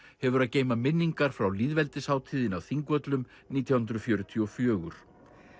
hefur að geyma minningar frá á Þingvöllum nítján hundruð fjörutíu og fjögur